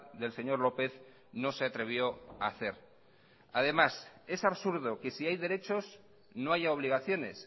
del señor lópez no se atrevió a hacer además es absurdo que si hay derechos no haya obligaciones